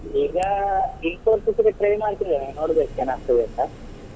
ಈಗಾ Infosys ಗೆ try ಮಾಡ್ತಾ ಇದ್ದೇನೆ ನೋಡ್ಬೇಕು ಏನಾಗ್ತಾದೆ ಅಂತ.